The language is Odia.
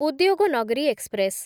ଉଦ୍ୟୋଗନଗରୀ ଏକ୍ସପ୍ରେସ୍‌